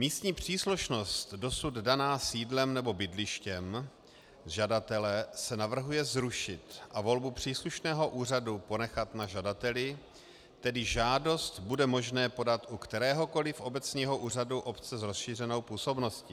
Místní příslušnost dosud daná sídlem nebo bydlištěm žadatele se navrhuje zrušit a volbu příslušného úřadu ponechat na žadateli, tedy žádost bude možné podat u kteréhokoliv obecního úřadu obce s rozšířenou působností.